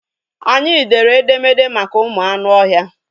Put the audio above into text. Anyị dere edemede maka ụmụ anụ ọhịa.